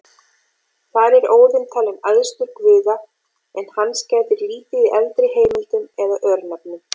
Þar er Óðinn talinn æðstur guða, en hans gætir lítið í eldri heimildum eða örnefnum.